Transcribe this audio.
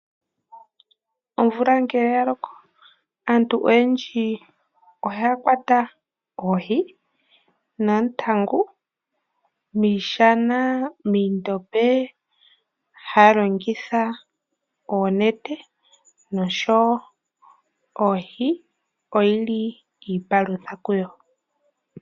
Omvula ngele ya loko, aantu oyendji ohaya kwata oohi noontangu miishana, miindombe. Haya longitha oonete, noshowo oohi oyi li iipalutha kuyo.